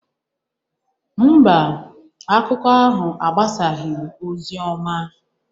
Mba, akụkọ ahụ agbasaghị ozi ọma